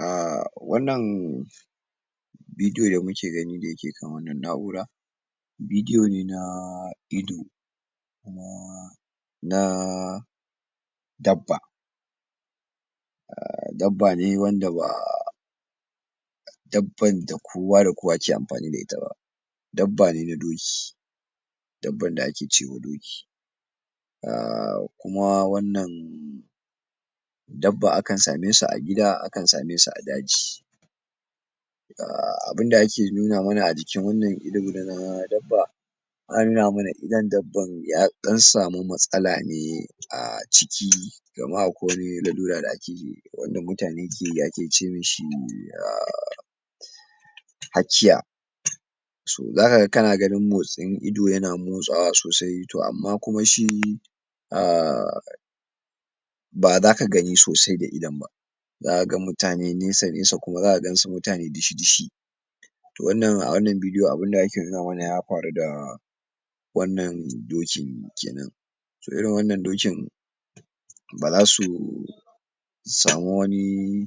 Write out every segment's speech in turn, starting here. um Wannan bidiyo da muke gani, da yake kan wannan na'ura, bidiyo na ido, na na dabba. um Dabba ne wanda ba dabban da kowa da kowa ke amfani da ita ba. Dbba ne na doki, dabban da ake cewa doki, um kuma wannan a kan same su a gida, a kan same su a daji. um Abinda ake nuna mana a jikin wannan ido na dabba, ana nuna mana idon dabban ya ɗan samu matsala ne a ciki, kaman akwai wani lallura da ake, wanda mutane keyi, ake ce mishi um hakiya. So, zaka ga kana gani motsin ido yana motsawa sosai, to amma kuma shi um ba zaka gani sosai da idon ba. Za kaga mutane nesa-nesa, kuma zaka gansu mutane dishi-dishi. To wannan, a wannan bidiyo abunda ake nuna mana ya faru da wannan dokin kenan. To, irin wannan dokin, ba za su samu wani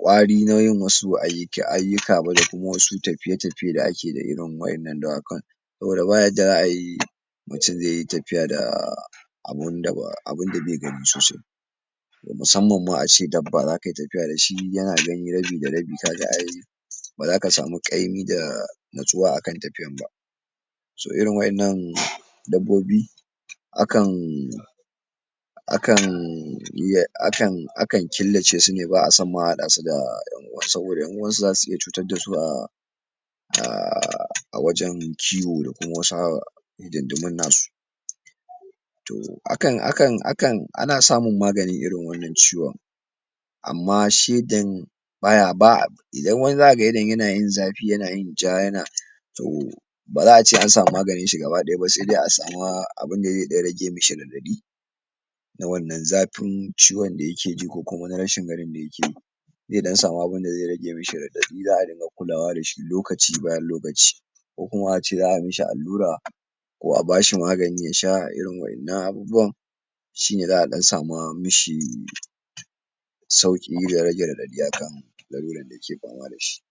ƙwari na yin wasu ayyuka ba, da kuma wasu tafiye-tafiye da ake da irin waɗan nan dawakan. Saboda baya jyuwa ai mutun zeyi tafiya da abunda be gani sosai. Musamman ma a ce dabba, zakayi tafiya dashi yana gani rabi da rabi, kaga ai ba zaka samu ƙaimi da anatsuwa a kan tafiyan ba. So, irin wa'innan dabbobi, a kan a kan killace su ne, ba a son ma a haɗa su da ƴan uwa, saboda ƴan uwan su zasu iya cutar dasu a a wajan kiwo da kuma wasu um hidindimun nasu. To, a kan, a kan, ana samun maganin irin wannan ciwon, amma shegen baya, ba a, idan wani za kaga yanayin idon yana yin zafi, yana yin ja yana to, ba za a ce an samu maganin shi gaba ɗaya ba, sai dai a sama abunda zai ɗan rage mishi raɗaɗi, na wannan zafin ciwon da yake ji, ko kuma na rashin ganin da yakeyi. Zai ɗan samu abunda zai rage mishi raɗaɗi, za dinga kulawa dashi lokaci bayan lokaci. Ko kuma a ce za a mishi allura, ko a bashi magani, don yasha a irin waɗan nan abubuwan. Shi ne za a ɗan sama mishi sauƙi da rage raɗaɗi a kan laluran da yake fama dashi.